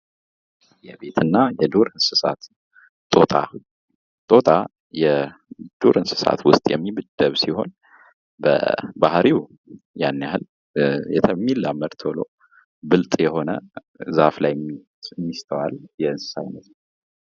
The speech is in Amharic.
የቤት እና የዱር እንሥሳት ጦጣ ጦጣ የዱር እንሥሳት ዉስጥ የሚመደብ ሲሆን በባህሪው ያን ያክል የሚላመድ ቶሎ ብልጥ የሆነ ዛፍ ላይ የሚስተዋል የእንሥሳ አይነት ነው።